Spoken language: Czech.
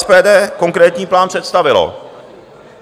SPD konkrétní plán představilo.